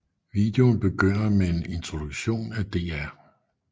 Videoen begynder med en introduktion af Dr